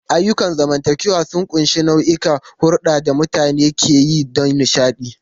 Ayyukan zamantakewa sun ƙunshi nau'ikan hulɗar da mutane ke yi don nishaɗi.